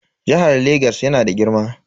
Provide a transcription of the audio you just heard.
Jihar Lagos yana da girma.